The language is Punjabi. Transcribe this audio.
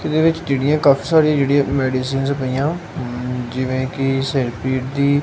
ਇਹਦੇ ਵਿੱਚ ਜਿਹੜੀਆਂ ਕਾਫੀ ਸਾਰੀਆਂ ਜਿਹੜੀਆਂ ਮੈਡੀਸਿਨਸ ਪਈਆਂ ਜਿਵੇਂ ਕਿ ਸਿਰ ਪੀੜ ਦੀ--